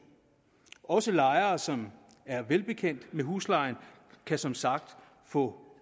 også lejere som er velbekendt med huslejen kan som sagt få